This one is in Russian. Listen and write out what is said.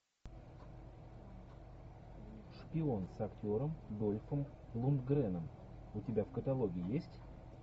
шпион с актером дольфом лундгреном у тебя в каталоге есть